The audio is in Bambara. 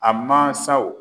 A mansaw